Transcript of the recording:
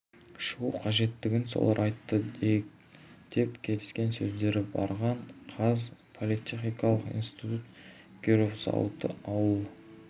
шығу қажеттігін солар айтты дейік деп келіскен өздері барған қаз политехникалық институт киров зауыты ауыл